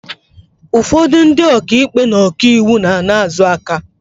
Ụfọdụ ndị oka ikpe na ọka iwu na-ana aka azụ.